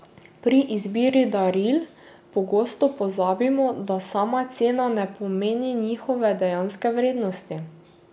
Pri izbiri daril pogosto pozabimo, da sama cena ne pomeni njihove dejanske vrednosti.